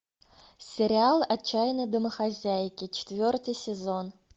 сериал отчаянные домохозяйки четвертый сезон